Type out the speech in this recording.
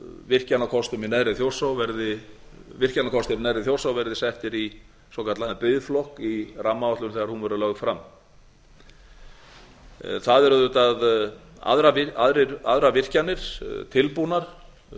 virkjanakostir í neðri þjórsá verði settir í svokallaðan biðflokk í rammaáætlun þegar hún verður lögð fram það eru auðvitað aðrar virkjanir tilbúnar